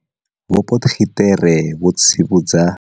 Vho Potgieter vha tsivhudza.